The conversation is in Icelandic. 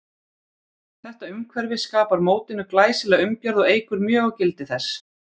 Þetta umhverfi skapar mótinu glæsilega umgjörð og eykur mjög á gildi þess.